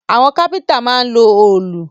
Àwọn kápẹ́ntà máa ń lo òòlù